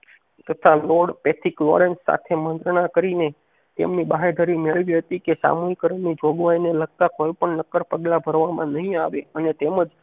તાથા lord Pethick Lawrence સાથે મંજાના કરીને તેમની બાંહેધરી મેળવે હતી કે સામૂહીકરણ ની જોગવાઈ ને લગતા કોઈ પણ નક્કર પગલા ભરવામાં નહિ આવે અને તૅમજ